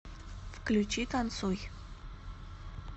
включи танцуй